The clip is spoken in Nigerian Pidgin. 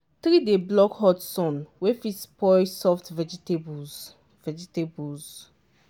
tree dey block hot sun wey fit spoil soft vegetables. vegetables.